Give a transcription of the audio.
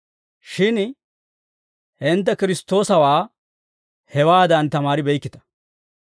Shin hintte Kiristtoosawaa hewaadan tamaaribeykkita.